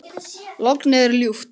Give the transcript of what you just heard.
Lognið er ljúft.